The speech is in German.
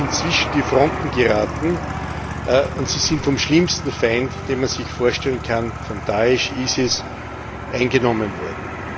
Sie sind zwischen die Fronten geraten, und sie sind vom schlimmsten Feind, den man sich vorstellen kann vom Da'isch IS eingenommen worden.